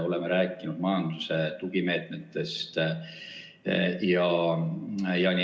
Oleme rääkinud ka majanduse tugimeetmetest.